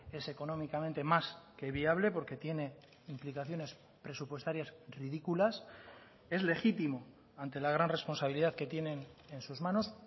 es económicamente más que viable porque tiene implicaciones presupuestarias ridículas es legítimo ante la gran responsabilidad que tienen en sus manos